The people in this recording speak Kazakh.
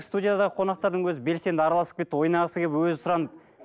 студиядағы қонақтардың өзі белсенді араласып кетті ойнағысы келіп өзі сұранып